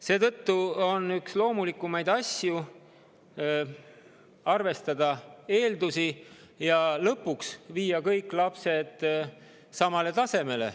Seetõttu on loomulik arvestada laste eeldusi ja viia nad lõpuks kõik samale tasemele.